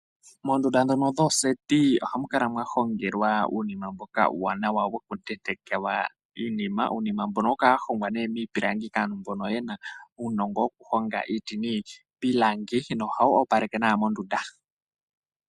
Moondunda ndhono dhooseti ohamu kala mwa hongelwa uunima mboka uuwanawa woku tentekelwa iinima. Uunima mbono ohawu kala wa hongwa miipilangi kaantu mbono yena uunongo woku honga iiti niipilangi no hawu opaleke nawa mondunda.